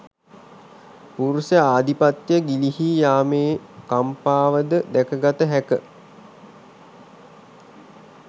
පුරුෂ ආධිපත්‍ය ගිලිහී යාමේ කම්පාවද දැක ගත හැක